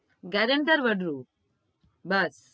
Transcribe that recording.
guranter વદ્રું but